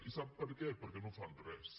i sap per què perquè no fan res